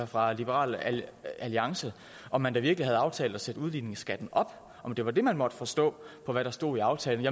fra liberal alliance om man da virkelig havde aftalt at sætte udligningsskatten op om det var det man måtte forstå på det der stod i aftalen